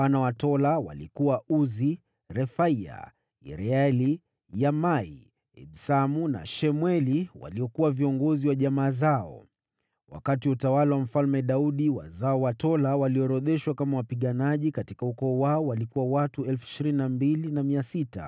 Wana wa Tola walikuwa: Uzi, Refaya, Yerieli, Yahmai, Ibsamu na Shemueli waliokuwa viongozi wa jamaa zao. Wakati wa utawala wa Mfalme Daudi, wazao wa Tola walioorodheshwa kama wapiganaji katika ukoo wao walikuwa watu 22,600.